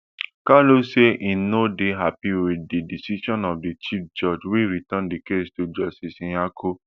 kanu say im no dey happy wit di decision of di chief judge wey return di case to justice nyako